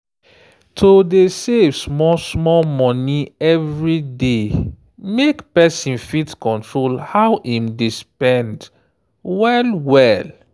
to dey save small-small money every day make person fit control how im dey spend well-well